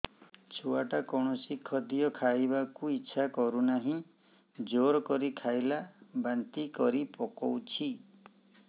ଛୁଆ ଟା କୌଣସି ଖଦୀୟ ଖାଇବାକୁ ଈଛା କରୁନାହିଁ ଜୋର କରି ଖାଇଲା ବାନ୍ତି କରି ପକଉଛି